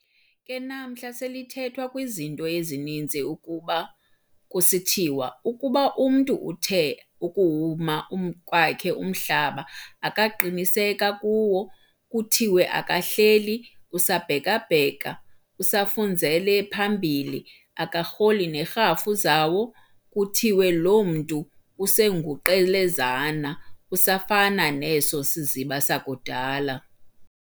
Ke namhla selithethwa kwizinto ezininzi, kuba kusithiwa ukuba umntu uthe ukuwuma kwakhe umhlaba akaqiniseka kuwo, kuthiwe akahleli, usabhekabheka, usafunzele phambili, akarholi nerhafu zawo, kuthiwe lo mntu usenguQelezana, usafana neso siziba sakudala.